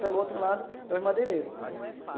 Pelo outro lado, é são os madeireiros.